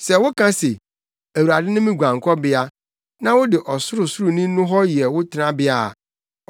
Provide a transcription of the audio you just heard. Sɛ woka se, “Awurade ne me guankɔbea,” na wode Ɔsorosoroni no hɔ yɛ wo tenabea a,